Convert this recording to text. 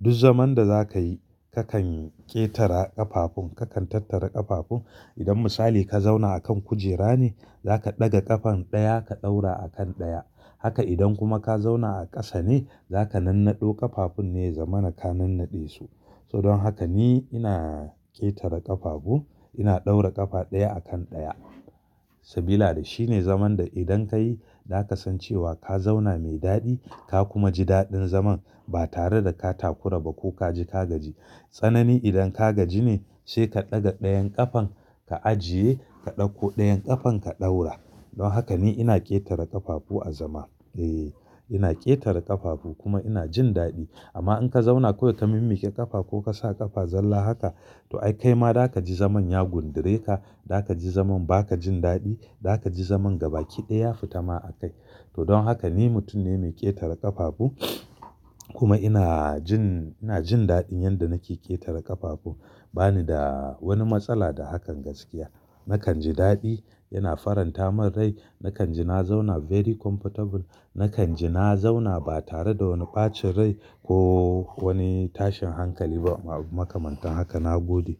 Duk zaman da zakayi kakan ƙetara ƙafafun kakan tattara ƙafafun idan misali ka zauna akan kujera ne zaka ɗaga ƙafan ɗaya ka ɗaura akan ɗaya. Haka idan kuma ka zauna a ƙasa ne zaka nannaɗo ƙafafun ne zaman ka nan naɗe su. Toh don haka ni ina ƙetara ƙafafu ina ɗaura ƙafa ɗaya akan ɗaya sabila da shine zaman da idan kayi zaka san cewa ka zauna mai daɗi ka kuma ji daɗin zaman ba tare da ka takura ba ko ka ji ka gaji. Tsanani idan ka gaji ne sai ka ɗaga ɗayan ƙafan ka ajiye ka ɗauko ɗayan ƙafan ka ɗaura. Don haka ni ina ƙetara ƙafafu a zama. Eh ina ƙetara ƙafafu kuma ina jin daɗi amma in ka zauna kawai ka mimmiƙe ƙafa ko ka sa ƙafa zalla haka to ai kai ma zaka ji zaman ya gundure ka. Zaka ji zaman baka jin daɗi, zaka ji zaman gaba ƙi daya ya fita ma a kai. Toh don haka ni mutum ne mai ƙetara ƙafafu kuma ina jin, ina jin daɗin yanda nake ƙetara ƙafafu bani da wani matsala da hakan gaskiya. Nakan ji daɗi yana faranta min rai nakan ji na zauna very comfortable nakan ji na zauna ba tare da wani ɓacin rai ko wani tashin hankali ba makamantan haka na gode.